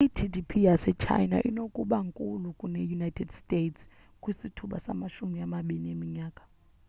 i-gdp yase china inokuba nkulu kune-united states kwisithuba samashumi amabini eminyaka